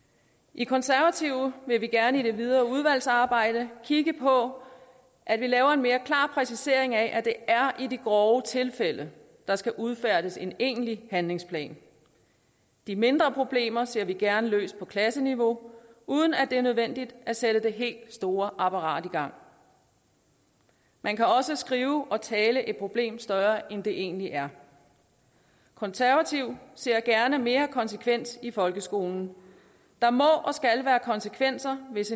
i konservative vil vi gerne i det videre udvalgsarbejde kigge på at vi laver en mere klar præcisering af at det er i de grove tilfælde der skal udfærdiges en egentlig handlingsplan de mindre problemer ser vi gerne løst på klasseniveau uden at det er nødvendigt at sætte det helt store apparat i gang man kan også skrive og tale et problem større end det egentlig er konservative ser gerne mere konsekvens i folkeskolen der må og skal være konsekvenser hvis